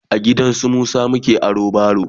a gidansu Musa muka aro baro